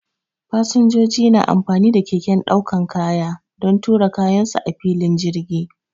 Fasinjoji na amfani da keken daukar kaya don tura kayan su a filin jirgi.